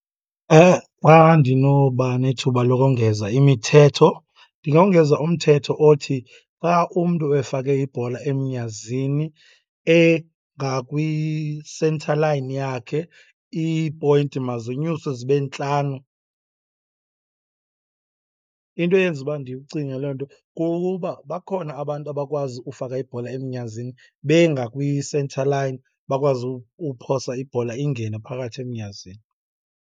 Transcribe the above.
Xa ndinoba nethuba lokongeza imithetho ndingongeza umthetho othi, xa umntu efake ibhola emnyazini engakwi-centre line yakhe iipoyinti mazinyuswe zibe ntlanu. Into eyenza uba ndiwucinge loo nto kukuba bakhona abantu abakwazi ufaka ibhola emnyazini bengakwi-centre line, bakwazi uphosa ibhola ingene phakathi emnyazini.